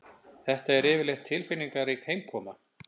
Þetta er yfirleitt tilfinningarík heimkoma